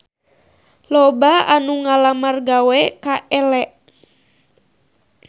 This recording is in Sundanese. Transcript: Loba anu ngalamar gawe ka Elle